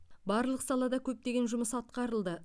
барлық салада көптеген жұмыс атқарылды